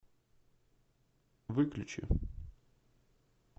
выключи